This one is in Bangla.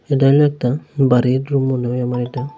এটায় একতা বাড়ির রুম মনে হয় আমার এটা।